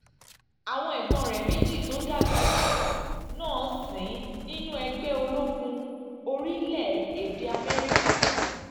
àwọn ẹ̀gbọ́n rẹ̀ méjì tó dàgbà jù ú náà ń sìn nínú ẹgbẹ́ ológun orílẹ̀-èdè amẹ́ríkà